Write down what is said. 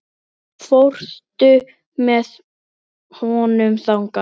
Þannig er það.